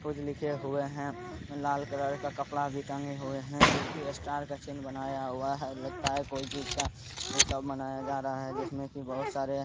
कुछ लिख कुछ लिखे हुए है लाल कलर का कपड़ा टंगा हुआ है जोकि स्टार का चिन्ह बनाया हुआ है| लगता है कोई चीज़ का उत्सव मनाया जा रहा है जिसमें की बहुत सारे --